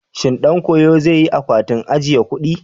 Shin ɗan koyon zai yi akwatin ajiye kuɗi?